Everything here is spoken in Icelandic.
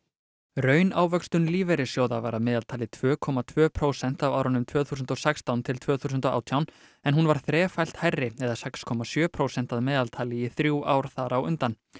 raunávöxtun lífeyrissjóða var að meðaltali tvö komma tvö prósent á árunum tvö þúsund og sextán til tvö þúsund og átján en hún var þrefalt hærri eða sex komma sjö prósent að meðaltali í þrjú ár þar á undan